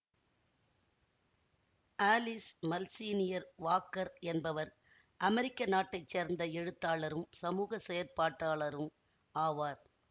Alice Malsenior Walker என்பவர் அமெரிக்க நாட்டை சேர்ந்த எழுத்தாளரும் சமூக செயற்பாட்டாளரும் ஆவார்